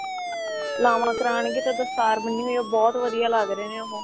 ਲਾਵਾਂ ਕਰਾਣਗੇ ਤਾਂ ਦਸਤਾਰ ਬੰਨੀ ਵੀ ਉਹ ਬਹੁਤ ਵਧੀਆ ਲੱਗ ਰਹੇ ਨੇ ਉਹ